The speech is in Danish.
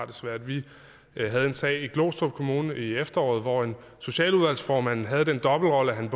det svært vi havde en sag i glostrup kommune i efteråret hvor en socialudvalgsformand havde den dobbeltrolle at han